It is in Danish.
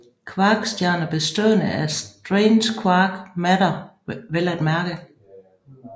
Kvarkstjerner bestående af strange quark matter vel at mærke